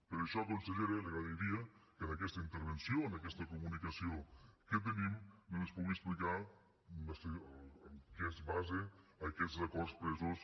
per això consellera li agrairia que en aquesta intervenció en aquesta comunicació que tenim doncs ens pugui explicar en què es basen aquests acords presos